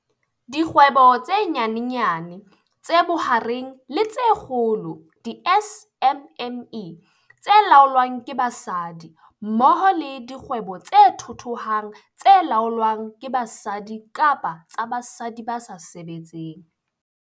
Dikgwebo tse Nyanyane, tse Bohareng le tse Kgolo, di-SMME, tse laolwang ke basadi mmoho le dikgwebo tse thuthuhang tse laolwang ke basadi kapa tsa basadi ba sa sebetseng.